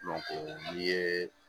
n'i ye